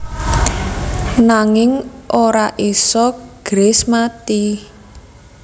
Nanging ora isa Grace mati